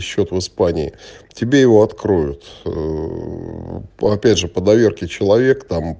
счёт в испании тебе его откроют ээ опять же по доверке человек там